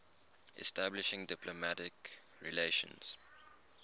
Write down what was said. establishing diplomatic relations